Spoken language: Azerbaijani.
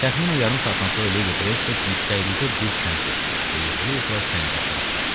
Təxminən yarım saatdan sonra Ledi Qreystik yüksəklikdə bir kənd gördü və yıxıla-yıxıla kəndə tərəf qaçdı.